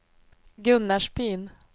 Gunnarsbyn